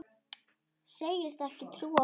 Segist ekki trúa honum.